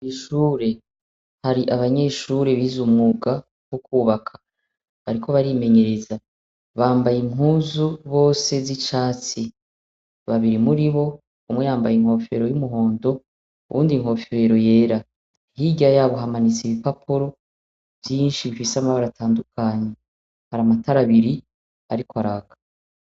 Ishure hari abanyeshure biza umuga wo kwubaka bariko barimenyereza bambaye inkuzu bose z'icati babiri muri bo umuyambaye inkofero y'umuhondo uwundi nkofero yera hirya yabo hamanitse ibipaporo vyinshi bikisama baratandukanye hari amatarabiri, ariko araka.